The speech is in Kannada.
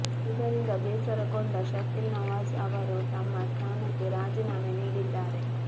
ಇದರಿಂದ ಬೇಸರಗೊಂಡ ಶಕೀಲ್ ನವಾಜ್ ಅವರು ತಮ್ಮ ಸ್ಥಾನಕ್ಕೆ ರಾಜೀನಾಮೆ ನೀಡಿದ್ದಾರೆ